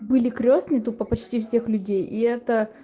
были крестный тупо почти всех людей и это